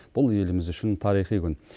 бұл еліміз үшін тарихи күн